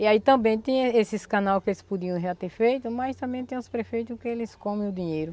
E aí também tem esses canal que eles podiam já ter feito, mas também tem os prefeito que eles come o dinheiro.